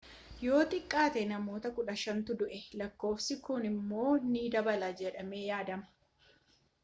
yoo xiqqaate namoota 15tu du'e lakkoofsi kun immoo ni dabala jedhamee yaadama